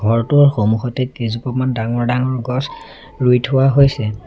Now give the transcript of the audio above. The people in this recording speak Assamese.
ঘৰটোৰ সন্মুখতেই কেইজোপামান ডাঙৰ ডাঙৰ গছ ৰুই থোৱা হৈছে।